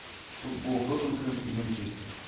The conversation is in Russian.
футбол тоттенхэм и манчестер